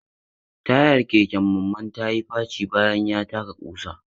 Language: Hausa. Tayar keken Mamman ya yi faci bayan ya taka kusa.